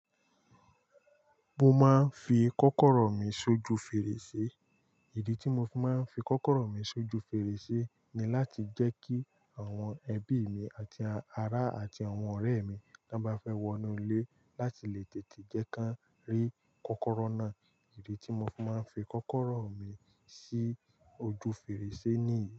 Mo máa ń fi kọ́kọ́rọ́ mi sójú fèrèsé. Ìdí tí mo fi máa ń fi kọ́kọ́rọ́ mi sójú fèrèsé ni láti jẹ́ kí àwọn ẹbí mi àti ará àti àwọn ọ̀rẹ́ mi tí wọ́n bá fẹ́ wọnú ilé láti lè tètè jẹ́ ká ri kọ́kọ́rọ́ náà. Ìdí tí mo fi máa ń fi kọ́kọ́rọ́ mi sí ojú fèrèsé nìyí.